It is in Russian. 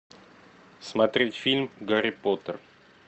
смотреть фильм гарри поттер